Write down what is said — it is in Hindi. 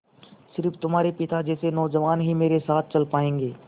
स़िर्फ तुम्हारे पिता जैसे नौजवान ही मेरे साथ चल पायेंगे